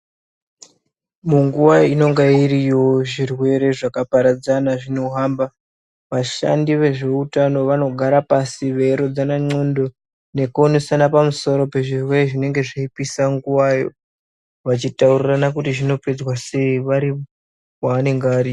Munguwa inenge iriyo zvirwere zvakaparadzana zvinenge zveihamba vashandi vehutano vanoungana pasi veirodzana ngonxo nekuronzana zvevzirwere zvinenge zvikupisa nguwayo vachitaurirana zvopedzwa sei vari kwavanenge vari.